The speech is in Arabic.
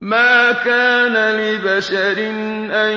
مَا كَانَ لِبَشَرٍ أَن